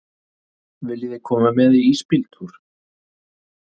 Viljiði koma með í ísbíltúr?